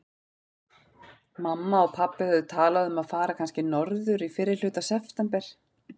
Mamma og pabbi höfðu talað um að fara kannski norður í fyrrihluta september.